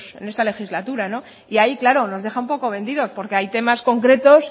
en esta legislatura y ahí claro nos deja un poco vendidos porque hay temas concretos